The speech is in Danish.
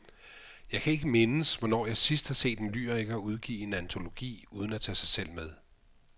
Jeg kan ikke mindes, hvornår jeg sidst har set en lyriker udgive en antologi uden at tage sig selv med.